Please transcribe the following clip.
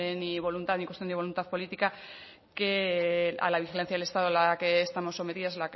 ni voluntad ni cuestión de voluntad política que a la vigilancia del estado a la que estamos sometidos